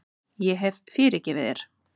Ég hef fyrirgefið þér.